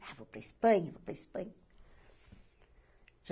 Ah, vou para a Espanha, vou para a Espanha.